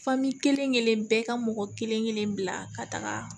kelen kelen bɛɛ ka mɔgɔ kelen kelen bila ka taga